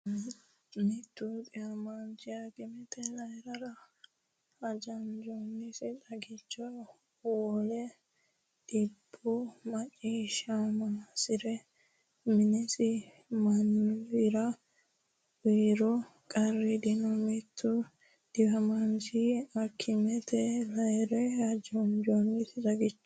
Mittu dhiwamaanchi akimetenni layi’re hajanjoonnisi xagicho wole- dhibbu macciishshammosihura minisi mannira uyiro qarru dino Mittu dhiwamaanchi akimetenni layi’re hajanjoonnisi xagicho.